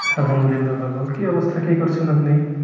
আল্লাহামদুল্লিয়া ভালো কি অবস্থা কি করছেন আপনি